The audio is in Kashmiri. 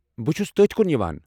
بہٕ چھُس تٔتھۍ کُن یِوان۔